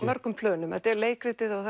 mörgum plönum þetta er leikritið og